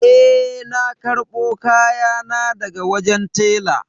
Eh na karbo kayana daga wajen tela.